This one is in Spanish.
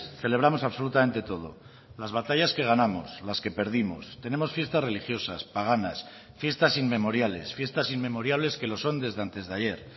celebramos absolutamente todo las batallas que ganamos las que perdimos tenemos fiestas religiosas paganas fiestas inmemoriales fiestas inmemoriales que lo son desde antes de ayer